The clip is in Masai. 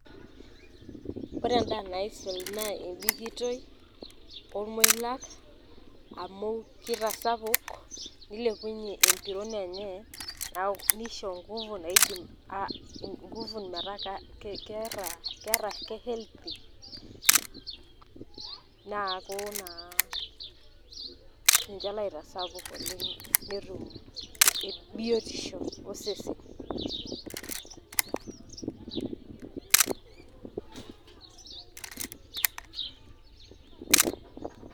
Ore endaa naisul naa ebikitoi, ormoilaak amu keitasapuk nilepunyie embirron enye neaku neisho engufu engufu metaa Kek ketaa kehealthy, neaku naa ninche loitasapuk oleng' netum biotisho osesen.